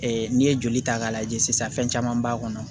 n'i ye joli ta k'a lajɛ sisan fɛn caman b'a kɔnɔ